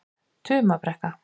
Tumabrekku